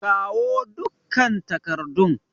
Kawo dukkan takardun!